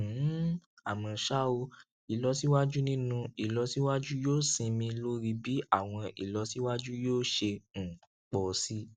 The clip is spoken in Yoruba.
um um àmó ṣá o ìlọsíwájú nínú ìlọsíwájú yóò sinmi lórí bí àwọn ìlọsíwájú yóò ṣe um pọ sí